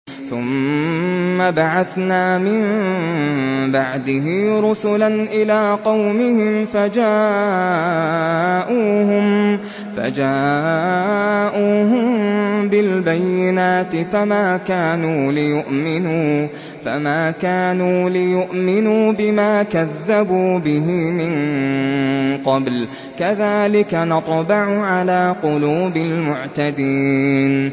ثُمَّ بَعَثْنَا مِن بَعْدِهِ رُسُلًا إِلَىٰ قَوْمِهِمْ فَجَاءُوهُم بِالْبَيِّنَاتِ فَمَا كَانُوا لِيُؤْمِنُوا بِمَا كَذَّبُوا بِهِ مِن قَبْلُ ۚ كَذَٰلِكَ نَطْبَعُ عَلَىٰ قُلُوبِ الْمُعْتَدِينَ